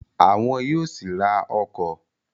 Àwọn yóò sì ra ọkọ̀